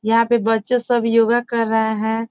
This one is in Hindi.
यहाँ पे बच्चे सब योगा कर रहे हैं।